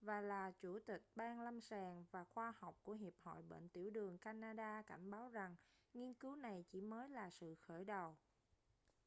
và là chủ tịch ban lâm sàng và khoa học của hiệp hội bệnh tiểu đường canada cảnh báo rằng nghiên cứu này chỉ mới là sự khởi đầu